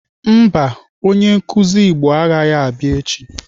Mba, onye nkụzi Igbo agaghị abịa echi.